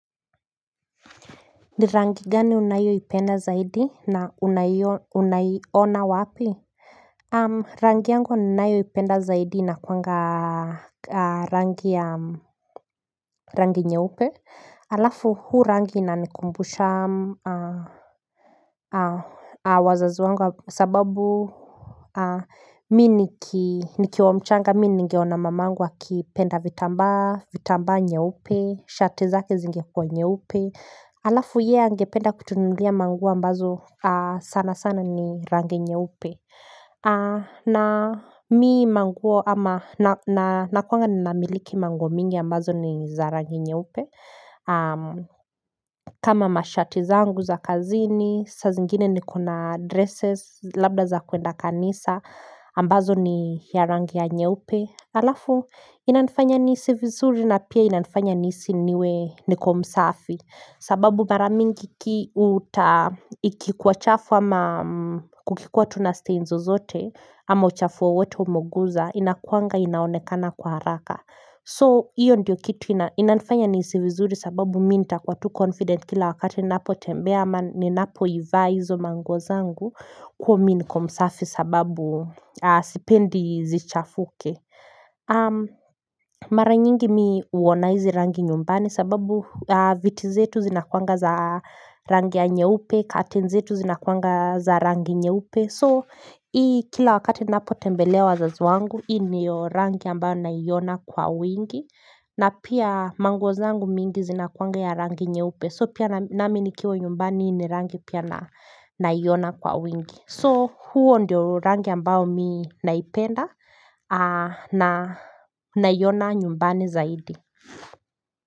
Ni rangi gani unayo ipenda zaidi na unaiona wapi Rangi yangu ninayo ipenda zaidi inakuanga rangi nye upe halafu huu rangi inanikumbusha wazazi wangu sababu mi nikiwa mchanga mi ningeona mamangu akipenda vitambaa vitambaa nye upe shati zake zingekuwa nyeupe Alafu ye angependa kutununulia mangua ambazo sana sana ni rangi nyeupe na mi manguo ama nakuanga ni namiliki manguo mingi ambazo ni za rangi nye upe kama mashati zangu za kazini, sazingine nikona dresses, labda za kuenda kanisa ambazo ni ya rangi ya nyeupe Alafu inanifanya nihisi vizuri na pia inanifanya nihisi niwe niko msafi sababu maramingi ki uta ikikuwa chafu ama kukikuwa tunasteinzo zote ama uchafu wowote umoguza inakuanga inaonekana kwa haraka. So iyo ndio kitu inanifanya nihisivizuri sababu minta kwa tu confident kila wakati napo tembea ama ni napo iva hiizo manguo za ngu kwa miniko msafi sababu sipendi zichafuke. Mara nyingi mi huona hizi rangi nyumbani sababu vitizetu zinakuanga za rangi anye upe Katenzetu zinakuanga za rangi anye upe So hii kila wakati napo tembelea wazazi wangu Hii ndi yo rangi ambayo naiona kwa wingi na pia manguo zangu mingi zinakuanga ya rangi nyeupe So pia nami nikiwa nyumbani ni rangi pia naiona kwa wingi So huo ndio rangi ambao mi naipenda na naiona nyumbani zaidi.